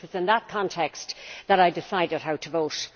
So it was in that context that I decided how to vote.